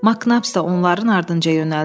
Maknaps da onların ardınca yönəldi.